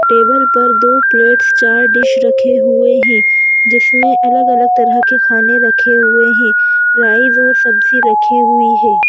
Table पर दो plates चार डिश रखे हुए हैं जिसमें अलग-अलग तरह के खाने रखे हुए हैं राइस और सब्जी रखी हुई है।